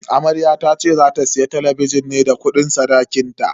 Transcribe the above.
Amaryar tace za ta siya talabijin ne da kudin sadakinta.